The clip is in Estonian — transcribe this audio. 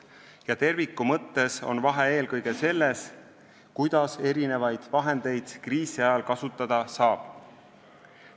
Ja terviku mõttes on vahe eelkõige selles, kuidas erinevaid vahendeid kriisi ajal kasutada saab.